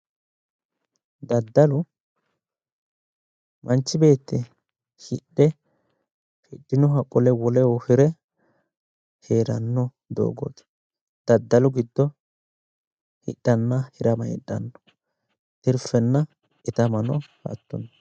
Daddalo, manchi beetti hidhe hidhinoha qole woleho hire heeranno doogooti. daddalu giddo hidhanna hirama heedhanno. tirfenna itamano hattono.